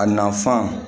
A nafan